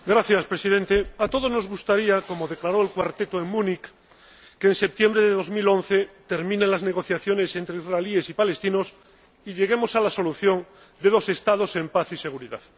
Señor Presidente, a todos nos gustaría, como declaró el Cuarteto en Múnich, que en septiembre de 2011 terminen las negociaciones entre israelíes y palestinos y lleguemos a la solución de dos Estados en paz y seguridad.